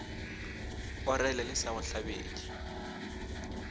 orele le sa go hlabetše